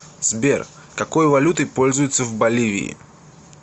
сбер какой валютой пользуются в боливии